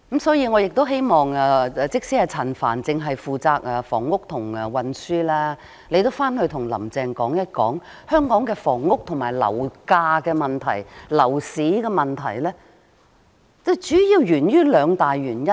所以，即使陳帆局長只負責房屋和運輸範疇，我也希望他回去後能跟"林鄭"說一說，香港的房屋、樓價及樓市問題主要源於兩大原因。